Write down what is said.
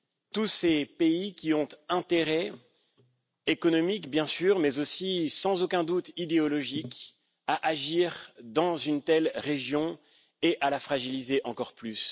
tous ces pays qui ont un intérêt économique, bien sûr, mais aussi sans aucun doute idéologique à agir dans une telle région et à la fragiliser encore plus.